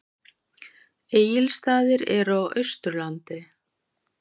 Egilsstaðir eru á Austurlandi.